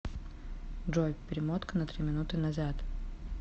джой перемотка на три минуты назад